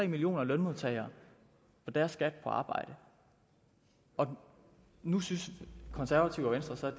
millioner lønmodtagere og deres skat på arbejde og nu synes konservative og venstre